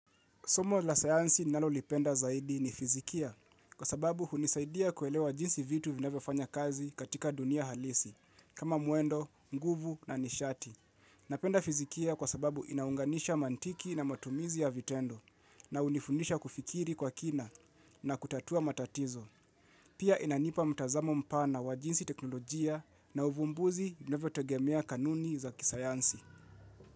Somo la sayansi ninalolipenda zaidi ni fizikia kwa sababu hunisaidia kuelewa jinsi vitu vinavyofanya kazi katika dunia halisi kama mwendo, nguvu na nishati. Napenda fizikia kwa sababu inaunganisha mantiki na matumizi ya vitendo na unifundisha kufikiri kwa kina na kutatua matatizo. Pia inanipa mtazamo mpana wa jinsi teknolojia na uvumbuzi vinavyo tegemea kanuni za kisayansi.